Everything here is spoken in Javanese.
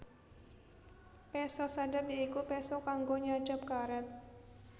Péso sadap ya iku péso kanggo nyadhap karét